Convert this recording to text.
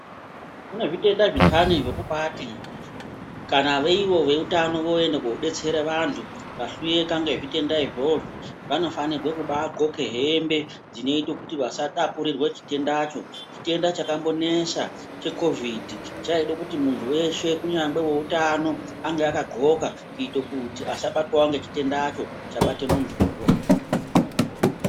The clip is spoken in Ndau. Kune zvitenda zvindani zvekubaati kana ivo veutano vooende kunobetsera vantu vahloyeka ngezvitenda izvozvo vanofanirwe kumbaadxoke hembe dzinoite kuti vasatapurirwe chitendacho. Chitrenda chakambonesa chekovidhi chaide kuti muntu weshe kunyangwe weutano ange akadxloka kuite kuti asabatwawo ngechitendacho chabate muntuwo .